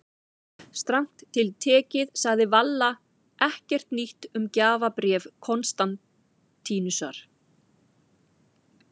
Strangt til tekið sagði Valla ekkert nýtt um gjafabréf Konstantínusar.